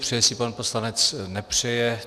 Přeje si pan poslanec, nepřeje?